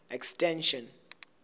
extension